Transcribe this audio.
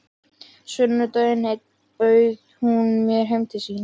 Sunnudag einn bauð hún mér heim til sín.